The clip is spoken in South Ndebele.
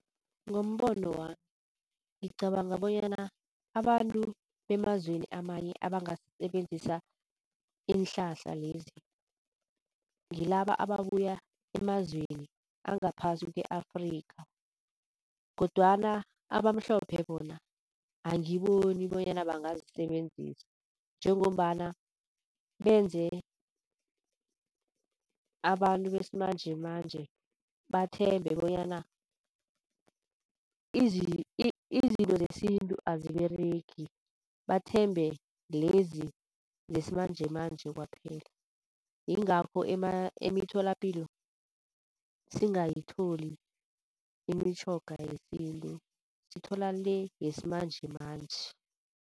Ngombono wami ngicabanga bonyana abantu bemazweni amanye abangasebenzisa iinhlahla lezi ngilaba ababuya emazweni angaphasi kwe-Afrikha kodwana abamhlophe bona angiboni bonyana bangazisebenzisa njengombana benze abantu besimanjemanje bathembe bonyana izinto zesintu aziberegi, bathembe lezi zesimanjemanje kwaphela. Yingakho emitholapilo singayitholi imitjhoga yesintu sithola le yesimanjemanje.